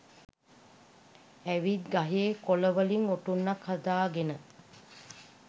ඇවිත් ගහේ කොළවලින් ඔටුන්නක් හදාගෙන